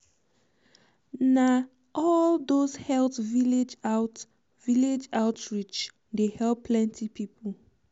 na all dose health village out village out reach um dey help plenty people.